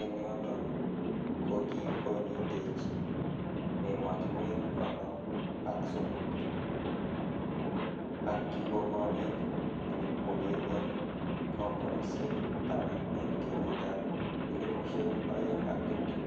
en yoton kokikonyitech emotinwek konoom ak somok ak kikonech chepkulet en kompunisiek taman en kenyitab 2020.